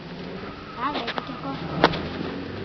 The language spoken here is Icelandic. Það veit ekki á gott!